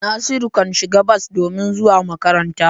Nasiru kan shiga bas domin zuwa makaranta.